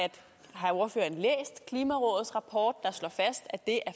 har ordføreren læst klimarådets rapport der slår fast at det at